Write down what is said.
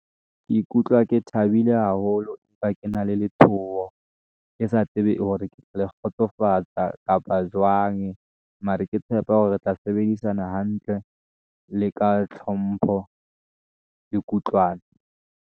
Ke ikutlwa ke thabile haholo empa ke na le letshoho, ke sa tsebe hore ke tla le kgotsofatsa kapa jwang mare ke tshepa hore re tla sebedisana hantle le ka tlhompho le kutlwano.